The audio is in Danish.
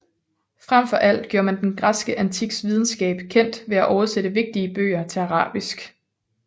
Fremfor alt gjorde man den græske antiks videnskab kendt ved at oversætte vigtige bøger til arabisk